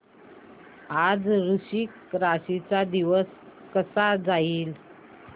आज वृश्चिक राशी चा दिवस कसा जाईल